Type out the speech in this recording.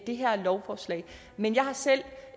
det her lovforslag men jeg har selv